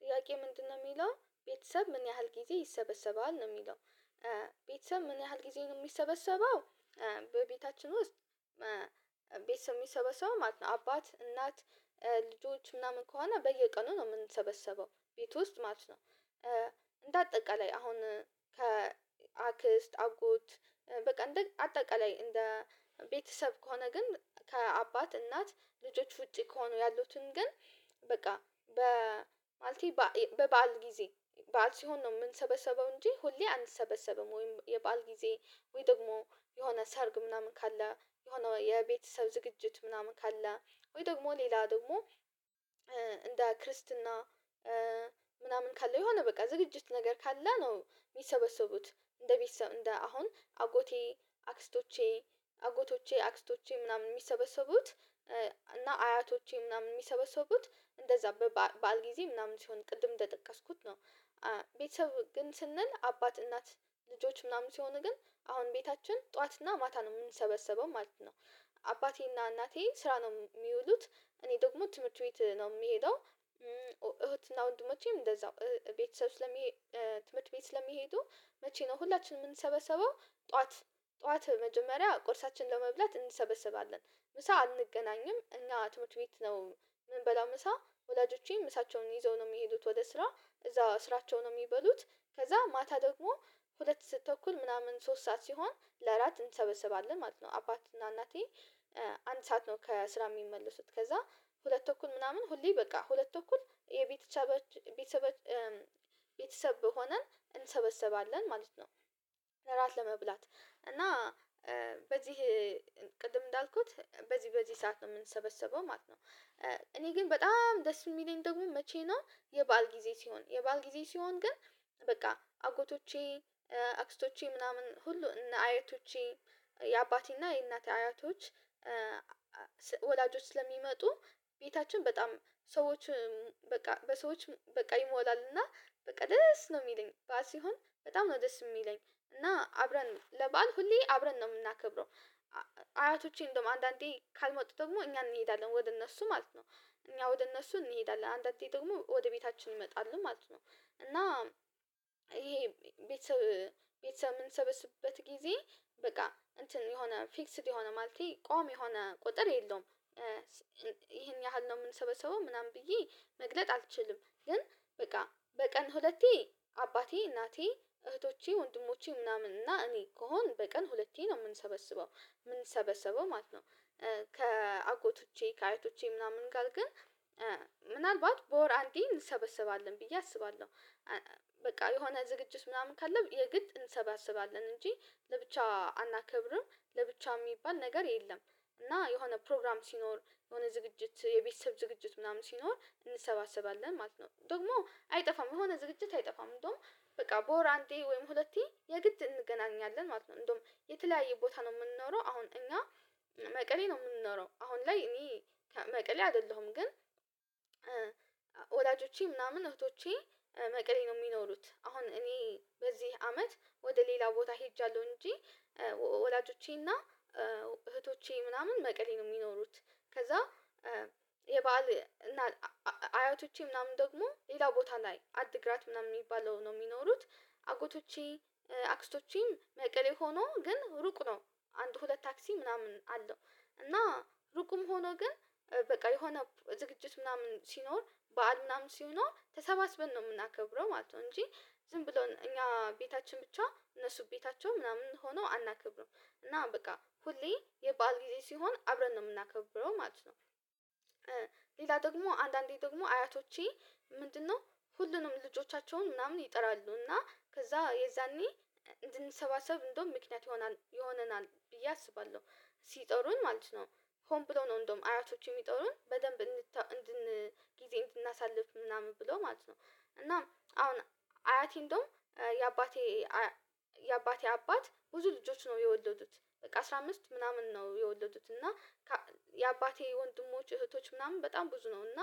ጥያቄ ምንድነው የሚለው? ቤተሰብ ምን ያህል ጊዜ ይሰበሰባል ነው የሚለው። ቤተሰብ ምን ያህል ጊዜ ነው የሚሰበሰበው በቤታችን ውስጥ ቤተሰብ የሚሰበሰበው ማለት ነው አባት እናት ልጆች ምናምን ከሆነ በየቀኑ ነው የምንሰበሰበው ቤት ውስጥ ማለት ነው። እንዳጠቃላይ አሁን ከ አክስት አጎት በቃ እንደ አጠቃላይ እንደ ቤተሰብ ከሆነ ግን ከአባት እናት ልጆች ውጪ ከሆኑ ያሉትን ግን በቃ ማለቴ በበዓል ጊዜ በዓል ሲሆን ነው የምንሰበሰበው እንጂ ሁሌ አንሰበሰብም። ወይም የበአል ጊዜ ወይ ደግሞ የሆነ ሰርግ ምናምን ካለ የሆነ የቤተሰብ ዝግጅት ምናምን ካለ ወይ ደግሞ ሌላ ደግሞ እንደ ክርስትና ምናምን ካለው የሆነ በቃ ዝግጅት ነገር ካለ ነው የሚሰበሰቡት። እንደ ቤት ሰው እንደ አሁን አጎቴ፣ አክስቶቼ፣ አጎቶቼ፣ አክስቶቼ ምናምን የሚሰበሰቡት እና አያቶቼ ምናምን የሚሰበሰቡት እንደዛ በበዓል ጊዜ ምናምን ሲሆን ቅድም እንደጠቀስኩት ነው። ቤተሰብ ግን ስንል አባት እናት ልጆች ምናምን ሲሆኑ ግን አሁን ቤታችን ጠዋትና ማታ ነው የምንሰበሰበው ማለት ነው። አባቴና እናቴ ስራ ነው የሚውሉት እኔ ደግሞ ትምህርት ቤት ነው የምሄደው። እህትና ወንድሞቼም እንደዛው። ቤተሰብ ስለሚሄድ ትምህርት ቤት ስለሚሄዱ መቼ ነው ሁላችንም የምንሰበሰበው ጠዋት ጠዋት መጀመሪያ ቁርሳችን ለመብላት እንሰበስባለን። ምሳ አንገናኝም። እኛ ትምህርት ቤት ነው ምንበላው ምሳ ወላጆቼም ምሳቸውን ይዘው ነው የሚሄዱት ወደ ስራ እዛ ስራቸው ነው የሚበሉት። ከዛ ማታ ደግሞ ሁለት ስአትተኩል ምናምን ሶስት ሰዓት ሲሆን ለአራት እንሰበሰባለን ማለት ነው። አባት እና እናቴ አንድ ሰዓት ነው ከስራ የሚመለሱት። ከዛ ሁለት ተኩል ምናምን ሁሌ በቃ ሁለቱ ተኩል የቤተሰባችን ቤተሰብ ሆነን እንሰበሰባለን ማለት ነው። እራት ለመብላት እና በዚህ ቅድም እንዳልኩት በዚህ በዚህ ሰዓት የምንሰበሰበው ማለት ነው። እኔ ግን በጣም ደስ የሚለኝ ደግሞ መቼ ነው የበአል ጊዜ ሲሆን የበአል ጊዜ ሲሆን ግን በቃ አጎቶቼ አክስቶቼ ምናምን ሁሉ እነ አያቶቼ የአባቴና የእናቴ አያቶች ወላጆች ስለሚመጡ ቤታችን በጣም ሰዎች በቃ በሰዎች በቃ ይሞላል እና በቃ ደስ ነው የሚለኝ። በዓል ሲሆን በጣም ነው ደስ የሚለኝ እና አብረን ለበአል ሁሌ አብረን ነው የምናከብረው። አያቶቼ እንደውም አንዳንዴ ካልመጡ ደግሞ እኛን እንሄዳለን ወደ እነሱ ማለት ነው። እኛ ወደ እነሱ እንሄዳለን። አንዳንዴ ደግሞ ወደ ቤታችን እንመጣለን ማለት ነው። እና ይሄ ቤተሰብ ቤተሰብ የምንሰበስበት ጊዜ በቃ እንትን የሆነ ፊክስድ የሆነ ማለቴ ቋሚ የሆነ ቁጥር የለውም። ይሄን ያህል ነው የምንሰበሰበው ምናምን ብዬ መግለጽ አልችልም። ግን በቃ በቀን ሁለቴ አባቴ፣ እናቴ፣ እህቶቼ፣ ወንድሞቼ ምናምን እና እኔ ከሆን በቀን ሁለቴ ነው የምንሰበሰበው። የምንሰበሰበው ማለት ነው ከአጎቶቼ፣ ከአያቶቼ ምናምን ጋር ግን ምናልባት በወር አንዴ እንሰበሰባለን ብዬ አስባለሁ። በቃ የሆነ ዝግጅት ምናምን ካለ የግድ እንሰባሰባለን እንጂ ለብቻ አናከብርም። ለብቻ የሚባል ነገር የለም። እና የሆነ ፕሮግራም ሲኖር የሆነ ዝግጅት የቤተሰብ ዝግጅት ምናምን ሲኖር እንሰባሰባለን ማለት ነው። ደግሞ አይጠፋም የሆነ ዝግጅት አይጠፋም እንደውም በቃ በወር አንዴ ወይም ሁለቴ የግድ እንገናኛለን ማለት ነው። እንደውም የተለያየ ቦታ ነው የምንኖረው አሁን እኛ መቀሌ ነው የምንኖረው። አሁን ላይ እኔ መቀሌ አይደለሁም ግን ወላጆቼ ምናምን እህቶቼ መቅሌ ነው የሚኖሩት። አሁን እኔ በዚህ አመት ወደ ሌላ ቦታ ሄጃለሁ እንጂ ወላጆቼና እህቶቼ ምናምን መቀሌ ነው የሚኖሩት። ከዛ የበአል አያቶቼ ምናምን ደግሞ ሌላ ቦታ ላይ አድግራት ምናምን የሚባለው ነው የሚኖሩት። አጎቶቼ፣ አክስቶቼም መቀሌ ሆኖ ግን ሩቅ ነው አንድ ሁለት ታክሲ ምናምን አለው እና ሩቁም ሆኖ ግን በቃ የሆነ ዝግጅት ምናምን ሲኖር በዓል ምናምን ሲኖር ተሰባስበን ነው የምናከብረው ማለት ነው እንጂ ዝም ብሎ እኛ ቤታችን ብቻ እነሱ ቤታቸው ምናምን ሆኖ አናከብርም። እና በቃ ሁሌ የበአል ጊዜ ሲሆን አብረን ነው የምናከብረው ማለት ነው። ሌላ ደግሞ አንዳንዴ ደግሞ አያቶቼ ምንድነው ሁሉንም ልጆቻቸውን ምናምን ይጠራሉ። እና ከዛ የዛኔ እንድንሰባሰብ እንደውም ምክንያት ይሆናል ይሆነናል ብዬ አስባለሁ። ሲጠሩን ማለት ነው ሆም ብለው ነው እንደውም አያቶቼ የሚጠሩን በደንብ ጊዜ እንድናሳልፍ ምናምን ብለው ማለት ነው። እና አሁን አያቴ እንደውም የአባቴ አባት ብዙ ልጆች ነው የወለዱት። በቃ አስራ አምስት ምናምን ነው የወለዱት እና የአባቴ ወንድሞች እህቶች ምናምን በጣም ብዙ ነው እና